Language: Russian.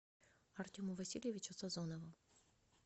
артему васильевичу сазонову